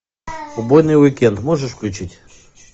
убойный уикенд можешь включить